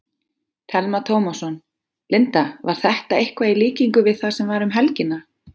Telma Tómasson: Linda, var þetta eitthvað í líkingu við það sem var um helgina?